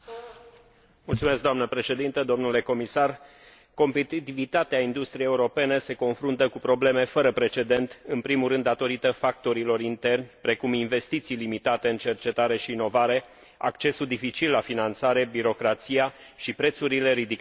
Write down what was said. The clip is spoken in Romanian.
Doamnă președintă, domnule comisar, competitivitatea industriei europene se confruntă cu probleme fără precedent, în primul rând datorită factorilor interni, precum investiții limitate în cercetare și inovare, accesul dificil la finanțare, birocrația și prețurile ridicate la energie.